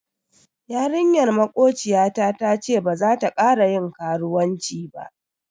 Yarinyar makociyata tace baza ta kara yin karuwanci ba.